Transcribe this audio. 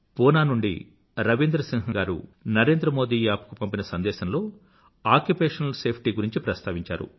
పూనా నుండి రవీంద్ర సింహ్ గారు నరేంద్రమోదీ యాప్ కు పంపిన సందేశంలో ఆక్యుపేషనల్ సేఫ్టీ గురించి ప్రస్తావించారు